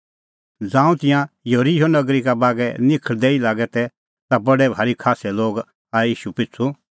ज़ांऊं तिंयां येरिहो नगरी का बागै निखल़दै ई लागै तै ता बडै भारी खास्सै लोग आऐ ईशू पिछ़ू